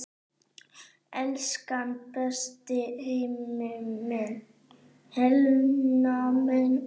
Elsku besta Helena mín.